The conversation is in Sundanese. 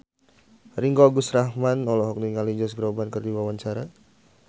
Ringgo Agus Rahman olohok ningali Josh Groban keur diwawancara